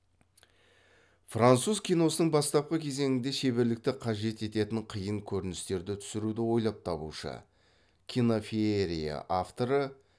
француз киносының бастапқы кезеңінде шеберлікті қажет ететін қиын көріністерді түсіруді ойлап табушы кинофеерия авторы